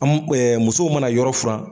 An mu musow mana yɔrɔ